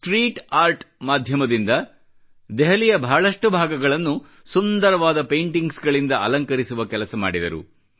street art ನ ಮಾಧ್ಯಮದಿಂದ ದೆಹಲಿಯ ಬಹಳಷ್ಟು ಭಾಗಗಳನ್ನು ಸುಂದರವಾದ ಪೈಂಟಿಂಗ್ಸ್ ಗಳಿಂದ ಅಲಂಕರಿಸುವ ಕೆಲಸ ಮಾಡಿದರು